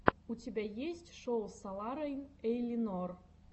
у тебя есть шоу соларейн эйлинор